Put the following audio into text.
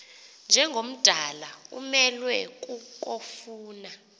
njengomdala umelwe kukofuna